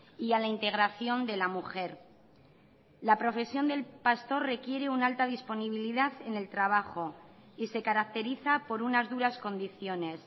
y a la integración de la mujer la profesión del pastor requiere una alta disponibilidad en el trabajo y se caracteriza por unas duras condiciones